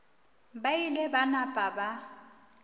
ba ile ba napa ba